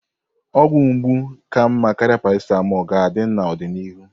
Ọgwụ mgbu ka mma karịa paracetamol ga-adị n'ọdịnihu.